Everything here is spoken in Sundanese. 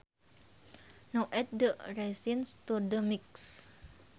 Now add the raisins to the mix